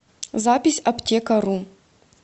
запись аптекару